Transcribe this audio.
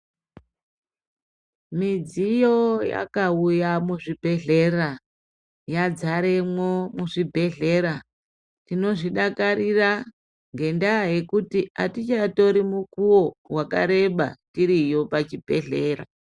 Midziyo yakauya muzvibhedhlera yazaremo muzvibhedhlera tinozvidakarira ngendava yekuti hatichatori mukuwo wakareba tiriyo pazvibhedhlera.